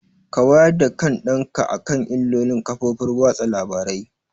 Ka wayar da kan ɗan ka akan illolin kafofar watsa labarai!